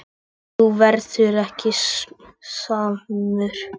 En þú verður ekki samur.